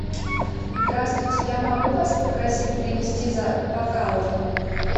здравствуйте я могу вас попросить принести бокалы в номер